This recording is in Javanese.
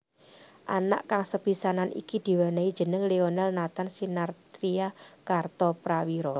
Anak kang sepisanan iki diwènèhi jeneng Lionel Nathan Sinathrya Kartoprawiro